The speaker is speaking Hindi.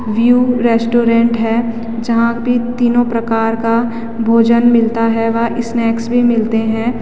व्यू रेस्टोरेंट है जहाँ पे तीनो प्रकार का भोजन मिलता है व स्नैक्स भी मिलते हैं।